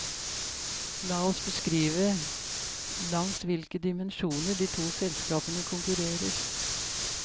La oss beskrive langs hvilke dimensjoner de to selskapene konkurrerer.